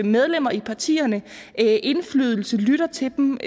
medlemmer i partierne indflydelse lytter til dem